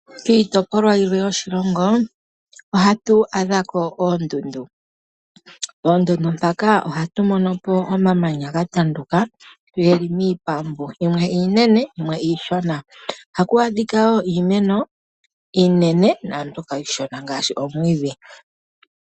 Kiitopolwa yilwe yoshilongo ohatu adhako oondundu. Poondundu mpaka ohatu monopo omamanya gatanduka geli miipambu, yimwe iinene, noyimwe iishona. Ohaku adhika wo iimeno iinene, naambyoka iishona ngaashi, omwiidhi.